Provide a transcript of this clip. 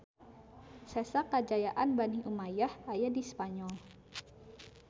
Sesa kajayaan Bani Umayyah aya di Spanyol